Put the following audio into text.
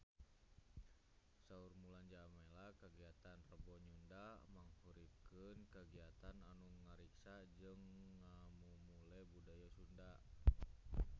Saur Mulan Jameela kagiatan Rebo Nyunda mangrupikeun kagiatan anu ngariksa jeung ngamumule budaya Sunda